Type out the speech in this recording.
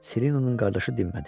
Silenonun qardaşı dinmədi.